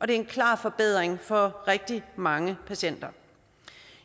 det er en klar forbedring for rigtig mange patienter